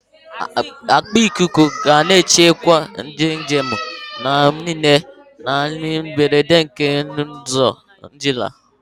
Akpa ikuku ga na-echebe ndị njem mgbe niile n'ihe mberede n'okporo ụzọ Naịjirịa.